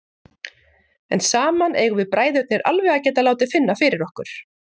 En saman eigum við bræðurnir alveg að geta látið finna fyrir okkur.